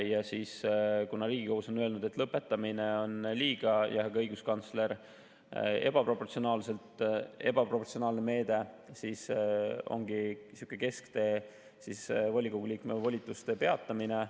Kuna Riigikohus ja ka õiguskantsler on öelnud, et lõpetamine on liiga ebaproportsionaalne meede, ongi kesktee volikogu liikme volituste peatamine.